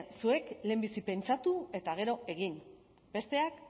zuek lehenbizi pentsatu eta gero egin besteak